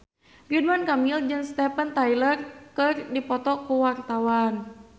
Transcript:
Ridwan Kamil jeung Steven Tyler keur dipoto ku wartawan